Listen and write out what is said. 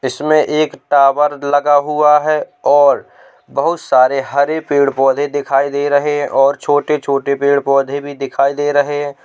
इसमें एक टावर लगा हुआ है और बहोत सारे हरे पेड़ पौधे दिखाई दे रहे हैं और छोटे-छोटे पेड़ पौधे भी दिखाई दे रहे हैं।